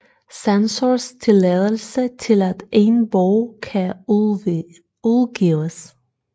Censors tilladelse til at en bog kan udgives